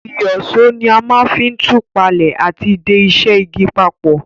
Ìyíṣòó ni a ma n fi tù palẹ́ àti de isẹ́ igi papò